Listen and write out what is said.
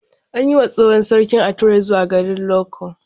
An yi wa tsohon sarki ature zuwa garin Loko.